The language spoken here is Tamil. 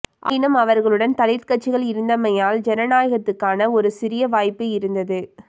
ஆயினும் அவர்களுடன் தலித் கட்சிகள் இருந்தமையால் ஜனநாயகத்துக்கான ஒரு சிறிய வாய்ப்பு இருந்தது